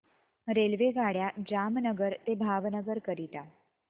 रेल्वेगाड्या जामनगर ते भावनगर करीता